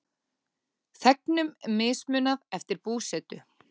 Þegnum mismunað eftir búsetu